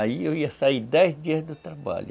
Aí eu ia sair dez dias do trabalho.